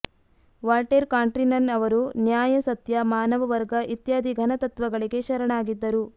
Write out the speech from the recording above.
Voltaire ಕಾಂಟ್ರೀನನ್ ಅವರು ನ್ಯಾಯ ಸತ್ಯ ಮಾನವವರ್ಗ ಇತ್ಯಾದಿ ಘನ ತತ್ತ್ವಗಳಿಗೆ ಶರಣಾಗಿದ್ದರು